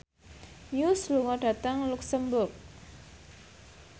Muse lunga dhateng luxemburg